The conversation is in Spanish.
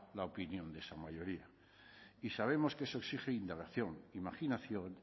la opinión de esa mayoría y sabemos que eso exige indagación imaginación